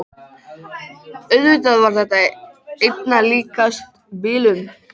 Auðvitað var þetta einna líkast bilun.